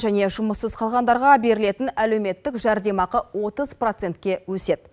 және жұмыссыз қалғандарға берілетін әлеметтік жәрдемақы отыз процентке өседі